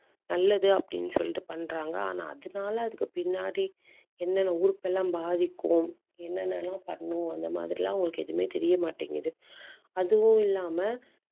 நல்லது அப்படின்னு சொல்லிட்டு பண்றாங்க. ஆனா அதனாலே அதுக்கு பின்னாடி என்னென்ன உறுப்பெல்லாம் பாதிக்கும் என்னென்ன எல்லாம் பண்ணும் அந்த மாதிரி எல்லாம் உங்களுக்கு எதுவுமே தெரிய மாட்டேங்குது. அதுவும் இல்லாம